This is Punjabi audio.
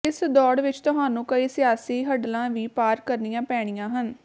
ਇਸ ਦੌੜ ਵਿਚ ਤੁਹਾਨੂੰ ਕਈ ਸਿਆਸੀ ਹਡਲਾਂ ਵੀ ਪਾਰ ਕਰਨੀਆਂ ਪੈਣੀਆਂ ਹਨ